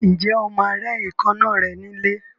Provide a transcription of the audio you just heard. Ǹjẹ́ o máa rẹ́ èékánná rẹ ní ilé?